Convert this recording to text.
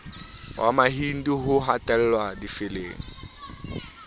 wa mahindu ho hatellwa difeleng